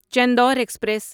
Chandur express